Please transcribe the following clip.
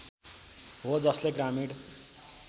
हो जसले ग्रामीण